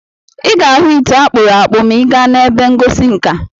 Ị ga-ahụ ite akpụrụ akpụ̀ maa ị gaa n'ebe ihe ngosi nka.